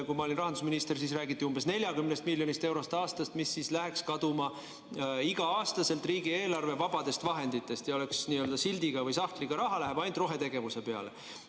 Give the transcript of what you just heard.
Kui ma olin rahandusminister, siis räägiti umbes 40 miljonist eurost aastas, mis läheks kaduma iga-aastaselt riigieelarve vabadest vahenditest, ja oleks n‑ö sildiga või sahtliga raha, läheks ainult rohetegevuse peale.